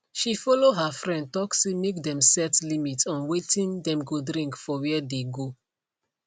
she follow her friend talk say make them set limit on watin dem go drink for where dey go